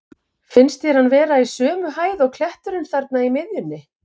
Finnst þér hann vera í sömu hæð og kletturinn þarna í miðjunni?